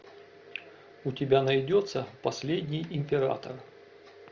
у тебя найдется последний император